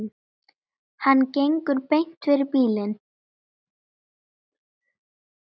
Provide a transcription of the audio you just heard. Hann gengur beint fyrir bílinn.